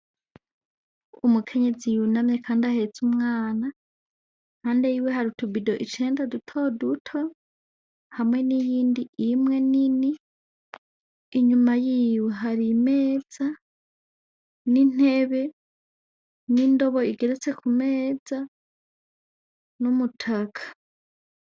Umukenyezi yunamye kandi ahetse umwana , iruhande yiwe hari utubido icenda duto duto hamwe n’iyindi imwe nini , inyuma yiwe hari Imeza n’intebe , n’indobo igeretse ku meza , n’umutaka.